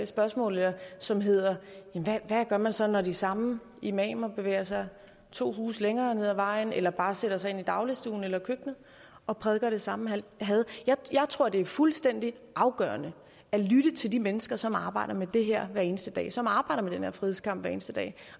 spørgsmål som hedder hvad gør man så når de samme imamer bevæger sig to huse længere ned ad vejen eller bare sætter sig ind i dagligstuen eller i køkkenet og prædiker det samme had jeg tror det er fuldstændig afgørende at lytte til de mennesker som arbejder med det her hver eneste dag som arbejder med den her frihedskamp hver eneste dag